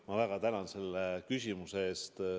Ma väga tänan selle küsimuse eest.